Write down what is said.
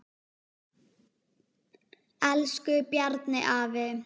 Elsku Bjarni afi.